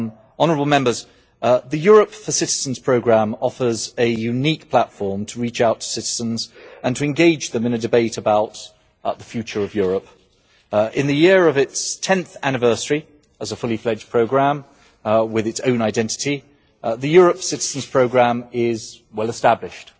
Honourable Members, the Europe for Citizens programme offers a unique platform to reach out to citizens and to engage them in a debate about the future of Europe. In the year of its tenth anniversary as a fully fledged programme with its own identity, the Europe for Citizens programme is well established.